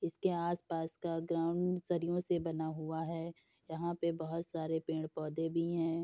इसके आस पास का ग्राउंड सदियों से बना हुआ है यहाँ पे बहोत सारे पेड़ पौधे भी हैं।